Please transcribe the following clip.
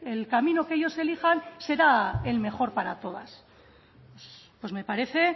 el camino que ellos elijan será el mejor para todas pues me parece